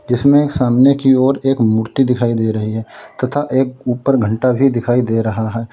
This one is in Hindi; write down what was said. जीसमें ये सामने की ओर एक मूर्ति दिखाई दे रही है तथा एक ऊपर घंटा भी दिखाई दे रहा है।